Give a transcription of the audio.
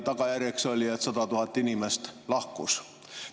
Tagajärjeks oli, et 100 000 inimest lahkus.